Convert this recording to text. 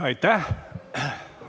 Aitäh!